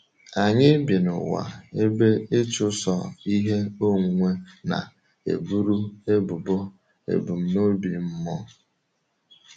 Anyị bi n’ụwa ebe ịchụso ihe onwunwe na-eburu ebubo ebumnobi mmụọ.